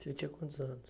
Você tinha quantos anos?